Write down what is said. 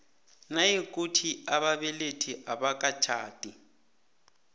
nayikuthi ababelethi abakatjhadi